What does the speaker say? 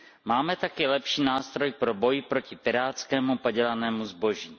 Máme tak i lepší nástroj pro boj proti pirátskému, padělanému zboží.